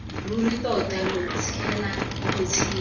ruri tota lo tshela botshelo